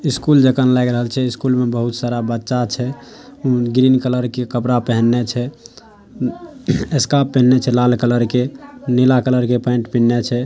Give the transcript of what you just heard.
School जाका लायग रहल छै। स्कूल में बहुत सारा बच्चा छै। उ ग्रीन कलर के कपड़ा पहिन्ले छै। स्कार्फ पहिन्ले छै लाल कलर के नीला कलर के पेंट पहिन्ले छै ।